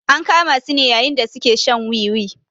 An kama su ne yayin da su ke shan wiwi.